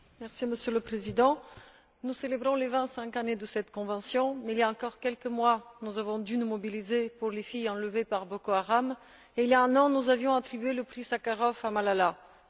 Monsieur le Président, nous célébrons les vingt cinq années de cette convention mais, il y a quelques mois, nous avons dû nous mobiliser pour les filles enlevées par Boko Haram et, il y a un an, nous avions attribué le Prix Sakharov à Malala Yousafzai.